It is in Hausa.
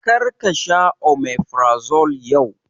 Kar ka sha omeferazole yau!